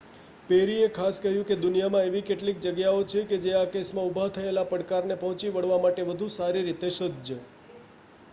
પેરીએ ખાસ કહ્યું દુનિયામાં એવી કેટલીક જગ્યાઓ છે જે આ કેસમાં ઊભા થયેલા પડકારને પહોંચી વળવા માટે વધુ સારી રીતે સજ્જ